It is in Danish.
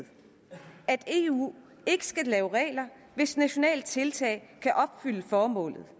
at eu ikke skal lave regler hvis nationale tiltag kan opfylde formålet